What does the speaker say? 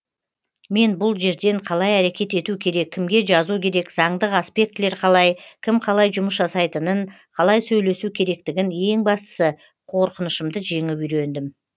мен бұл жерден қалай әрекет ету керек кімге жазу керек заңдық аспектілер қалай кім қалай жұмыс жасайтынын қалай сөйлесу керектігін ең бастысы қорқынышымды жеңіп үйрендім